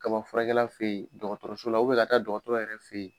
Kabafurakɛla fɛ ye dɔgɔtɔrɔso la ka taa dɔgɔtɔrɔ yɛrɛ fɛ ye.